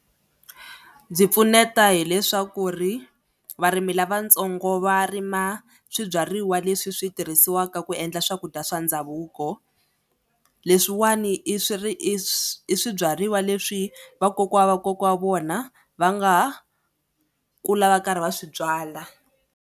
Byi pfuneta hileswaku ri varimi lavatsongo va rima swibyariwa leswi swi tirhisiwaka ku endla swakudya swa ndhavuko. Leswiwani i swi ri i swi i swibyariwa leswi vakokwa wa kokwa wa vona va nga kula va karhi va swi byala.